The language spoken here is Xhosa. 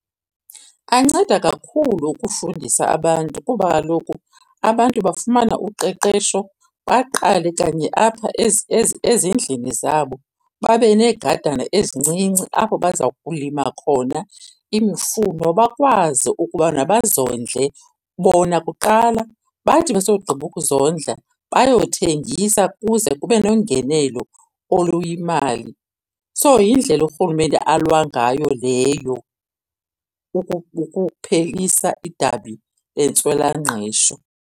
Anceda kakhulu ukufundisa abantu kuba kaloku abantu bafumana uqeqesho baqale kanye apha ezindlini zabo, babe neegadana ezincinci apho baza kulima khona imifuno bakwazi ukubana bazondle bona kuqala. Bathi besogqiba ukuzondla bayothengisa ukuze kube nengenelo oluyimali. So, yindlela urhulumente alwa ngayo leyo ukuphelisa idabi lentswela-ngqesho.